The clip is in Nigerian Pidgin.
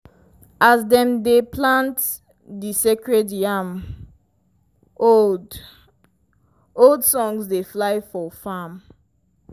as dem dey plant di sacred yam old-old songs dey fly for farm.